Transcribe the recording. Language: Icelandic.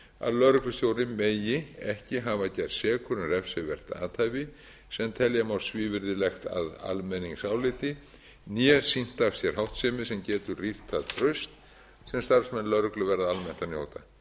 að lögreglustjóri megi ekki hafa gerst sekur um refsivert athæfi sem telja má svívirðilegt að almenningsáliti né sýnt af sér háttsemi sem getur rýrt það traust sem starfsmenn lögreglu verða almennt að njóta